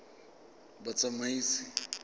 batsamaisi